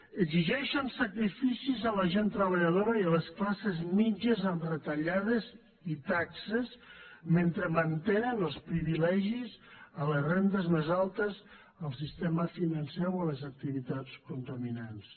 exigeixen sacrificis a la gent treballadora i a les classes mitjanes amb retallades i taxes mentre mantenen els privilegis a les rendes més altes al sistema financer o a les activitats contaminants